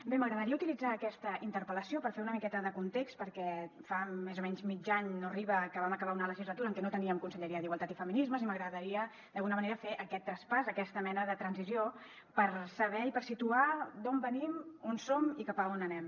bé m’agradaria utilitzar aquesta interpel·lació per fer una miqueta de context perquè fa més o menys mig any no hi arriba que vam acabar una legislatura en què no teníem conselleria d’igualtat i feminismes i m’agradaria d’alguna manera fer aquest traspàs aquesta mena de transició per saber i per situar d’on venim on som i cap a on anem